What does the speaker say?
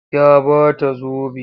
Ya ba ta zobe.